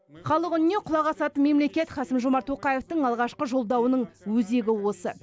халық үніне құлақ асатын мемлекет қасым жомарт тоқаевтың алғашқы жолдауының өзегі осы